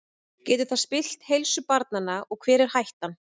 Getur það spillt heilsu barnanna og hver er hættan?